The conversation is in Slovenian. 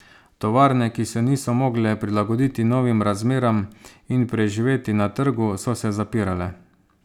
Tovarne, ki se niso mogle prilagoditi novim razmeram in preživeti na trgu, so se zapirale.